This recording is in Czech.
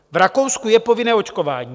V Rakousku je povinné očkování.